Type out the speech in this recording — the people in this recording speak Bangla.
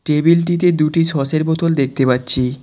টেবিলটিতে দুটি সসের বোতল দেখতে পাচ্ছি।